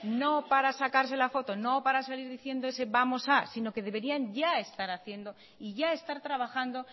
no para sacarse la foto no para salir diciendo ese vamos a sino que deberían ya estar haciendo y ya estar trabajando